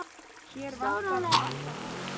Hér vantar alltaf fólk.